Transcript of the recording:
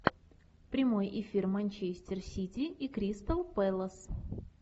прямой эфир манчестер сити и кристал пэлас